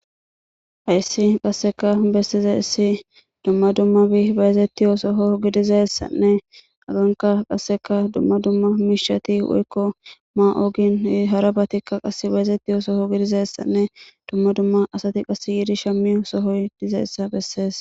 Hayssi qasseka bessize issi dumma dumma bi bayazetti yoosoho gidizayssanne aganka qasseka dumma dumma miishati woykko ma7ogin harabatikka qass bayazetti yoosoho gidizayessanne dumma dumma asati qas yiidi shammi sohoy dizeessa bessees.